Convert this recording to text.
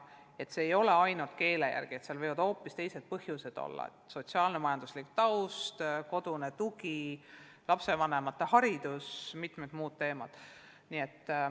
Neid rühmi ei tehta ainult keele alusel, seal võivad hoopis teised põhjused olla: sotsiaal-majanduslik taust, kodune tugi, lapsevanemate haridus, mitmed muud tegurid.